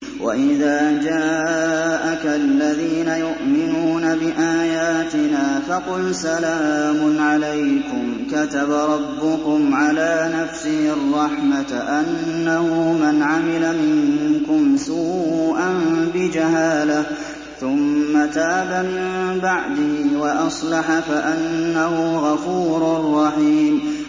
وَإِذَا جَاءَكَ الَّذِينَ يُؤْمِنُونَ بِآيَاتِنَا فَقُلْ سَلَامٌ عَلَيْكُمْ ۖ كَتَبَ رَبُّكُمْ عَلَىٰ نَفْسِهِ الرَّحْمَةَ ۖ أَنَّهُ مَنْ عَمِلَ مِنكُمْ سُوءًا بِجَهَالَةٍ ثُمَّ تَابَ مِن بَعْدِهِ وَأَصْلَحَ فَأَنَّهُ غَفُورٌ رَّحِيمٌ